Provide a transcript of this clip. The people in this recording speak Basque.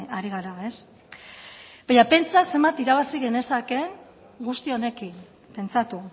ari gara baina pentsa zenbat irabazi genezakeen guzti honekin pentsatu